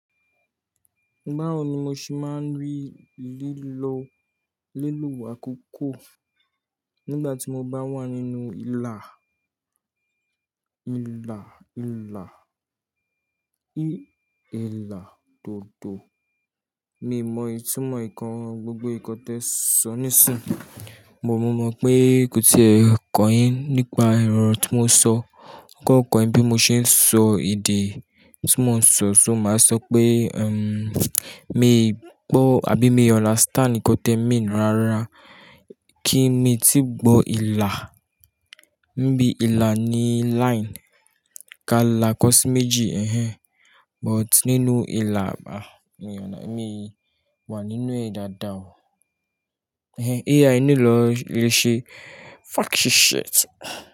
Báwo ni mo ṣe máa ń rí lílo lilo akọ́kọ́ nígbà tí mo bá wà nínú ìlà, ìlà, ìlà, ì, ẹ̀là dodo. Mi n mọ ìtumọ̀ ǹnkan gbogbo nǹkan t'e sọ nisinyi, but mọ̀ pé kò tí e kan yín nípa orọ tí mo sọ, kò kan yin bí mo ṣe ń sọ èdè tí mo ń sọ, ṣo ma sọ pé, ẹm, mi n gbó àbí mi i understand nǹkan t'e mean rárá. Kí mo tí gbó ìlà, bí ìlà ní line ka là kọ sí méjì, but nínú ìlà àbà, mi ò mọ̀, mi wà nínú ẹ̀ dàda o. AI nílò ìrẹsì, fuck this shit.